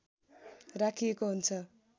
राखिएको हुन्छ